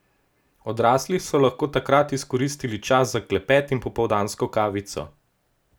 Odrasli so lahko takrat izkoristili čas za klepet in popoldansko kavico.